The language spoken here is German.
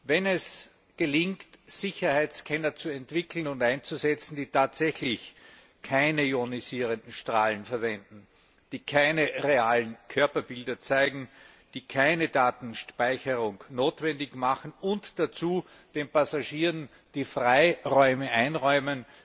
Wenn es gelingt, Sicherheitsscanner zu entwickeln und einzusetzen, die tatsächlich keine ionisierenden Strahlen verwenden, die keine realen Körperbilder zeigen, die keine Datenspeicherung notwendig machen, und wenn zudem den Passagieren der Freiraum eingeräumt